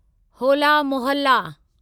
होला मोहल्ला